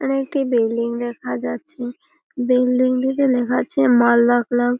এখানে একটি বিল্ডিং দেখা যাচ্ছে বিল্ডিং টিতে লেখা আছে মালদা ক্লাব ।